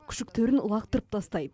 күшіктерін лақтырып тастайды